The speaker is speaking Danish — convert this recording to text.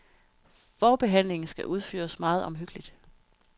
Forbehandlingen skal udføres meget omhyggeligt.